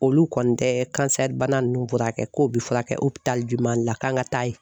Olu kɔni tɛ kansɛribana ninnu furakɛ k'o bɛ furakɛ Mali la k'an ka taa yen